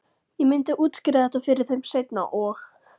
Ég myndi útskýra þetta fyrir þeim seinna- og